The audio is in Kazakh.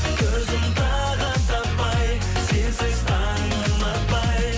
көзім тағыт таппай сенсіз таңым атпай